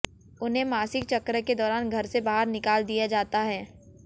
उन्हें मासिक चक्र के दौरान घर से बाहर निकाल दिया जाता है